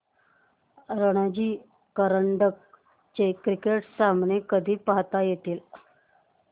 रणजी करंडक चे क्रिकेट सामने कधी पाहता येतील